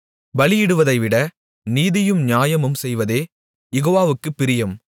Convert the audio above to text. பலியிடுவதைவிட நீதியும் நியாயமும் செய்வதே யெகோவாவுக்குப் பிரியம்